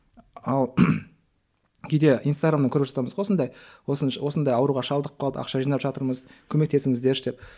ал кейде инстаграмда көріп жатамыз ғой сондай осындай ауруға шалдығып қалдық ақша жинаватырмыз көмектесіңіздерші деп